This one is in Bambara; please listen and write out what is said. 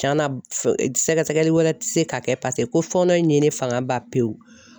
Cɛn na, sɛgɛsɛgɛli wɛrɛ ti se ka kɛ , paseke ko fɔɔnɔ in ye ne fanga ba pewu!